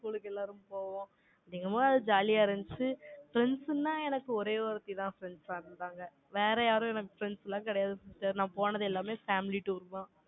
school க்கு எல்லாரும் போவோம். என்னமோ, அது jolly யா இருந்துச்சு. Friends ன்னா, எனக்கு ஒரே ஒருத்திதான், friends ஆ இருந்தாங்க வேற யாரும் எனக்கு friends எல்லாம் கிடையாது sister நான் போனது எல்லாமே family tour தான்.